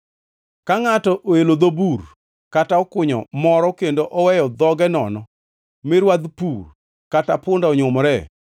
“Ka ngʼato oelo dho bur kata okunyo moro kendo oweyo dhoge nono mi rwadh pur kata punda onyumoree,